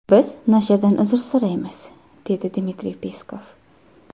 Biz nashrdan uzr so‘raymiz”, dedi Dmitriy Peskov.